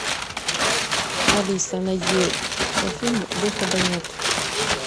алиса найди фильм выхода нет